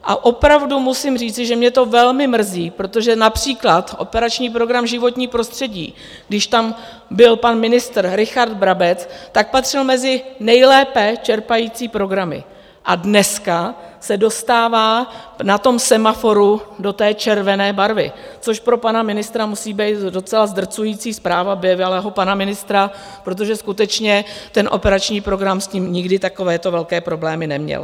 A opravdu musím říci, že mě to velmi mrzí, protože například Operační program Životní prostředí, když tam byl pan ministr Richard Brabec, tak patřil mezi nejlépe čerpající programy a dneska se dostává na tom semaforu do té červené barvy, což pro pana ministra musí být docela zdrcující zpráva, bývalého pana ministra, protože skutečně ten operační program s tím nikdy takovéto velké problémy neměl.